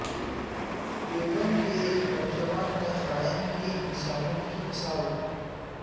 دیوبند کے ایک نوجوان نے قائم کی انسانیت کی مثال